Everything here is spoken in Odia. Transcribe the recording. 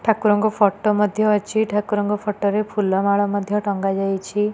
ଠାକୁରଙ୍କ ଫଟୋ ମଧ୍ୟ ଅଛି ଠାକୁରଙ୍କ ଫଟରେ ଫୁଲମାଳ ମଧ୍ୟ ଟଂଗା ଯାଇଛି।